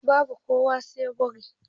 Babu kuwa sai burga